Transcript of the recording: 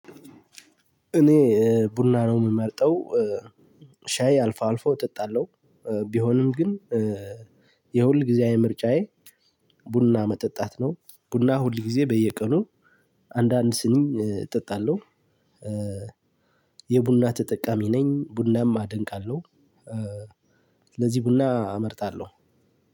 እኔ ቡና ነው የምመርጠው ሻይ አልፎ አልፎ እጠጣለሁ። ቢሆንም ግን የሁልጊዜያዊ ምርጫዬ ቡና መጠጣት ነው። ቡና ሁልጊዜ በየቀኑ አንዳንድ ስኒ እጠጣለሁ። የቡና ተጠቃሚ ነኝ ቡናም አደንቃለሁ። ስለዚህ ቡና እመርጣለሁ።